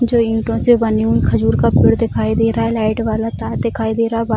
जो ईटो से बने हुए खजूर का पेड़ दिखाई दे रहा है लाइट वाला तार दिखाई दे रहा --